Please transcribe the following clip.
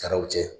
Taara u cɛ